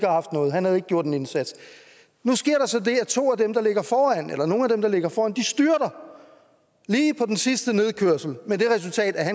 haft noget han havde ikke gjort en indsats nu sker der så det at to at dem der ligger foran eller nogle af dem der ligger foran styrter lige på den sidste nedkørsel med det resultat at